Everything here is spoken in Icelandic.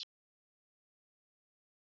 Linda: Og hvað er það?